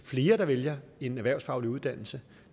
flere der vælger en erhvervsfaglig uddannelse